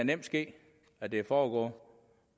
nemt ske at det foregår